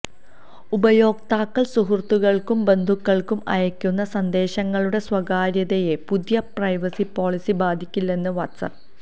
ഉപയോക്താക്കൾ സുഹൃത്തുക്കൾക്കും ബന്ധുക്കൾക്കും അയക്കുന്ന സന്ദേശങ്ങളുടെ സ്വകാര്യതയെ പുതിയ പ്രൈവസി പോളിസി ബാധിക്കില്ലെന്ന് വാട്സാപ്പ്